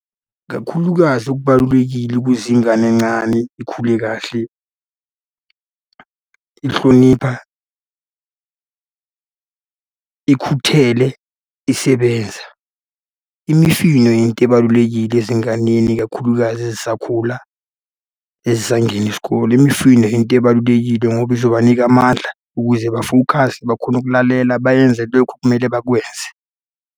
Kakhulukazi okubalulekile ukuze ingane encane ikhule kahle, ihlonipha, ikhuthele, isebenza. Imifino yinto ebalulekile ezinganeni, ikakhulukazi ezisakhula, ezisangena isikole, imifino yinto ebalulekile, ngoba izobanika amandla ukuze bafokhase, bakhone ukulalela, bayenze lokhu ekumele bakwenze.